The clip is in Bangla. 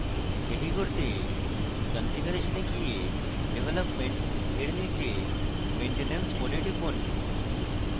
এটি করতে configuration এ গিয়ে development for নীচে maintenance mode এ টিপুন